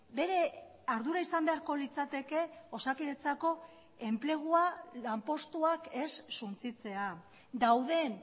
bere ardura izan beharko litzateke osakidetzako enplegua lanpostuak ez suntsitzea dauden